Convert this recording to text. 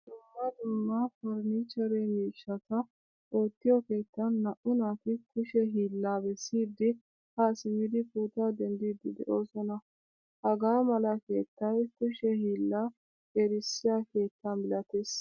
Dumma dumma 'farnichchere' miishshatta ootiyo keettan naa'u naati kushe hiilaa beesidi ha simidi pootuwaa denddidi de'osna. Hagaamala keettay kushe hiila erisiyaa keetta milattees.